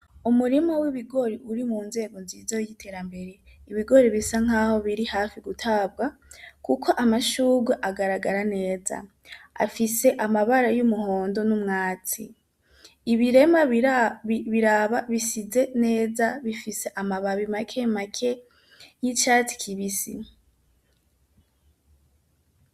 Umurimo w'ibigori uri mu nzego nziza y'iterambere ibigori bisa nk'aho biri hafi gutabwa, kuko amashuga agaragara neza afise amabara y'umuhondo n'umwatsi ibirema biraba bisize neza bifise amababi make make y'icatsi kibise .